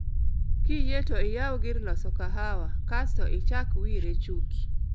Kiyie to iyaw gir loso kahawa kasto ichak Wyre Chuki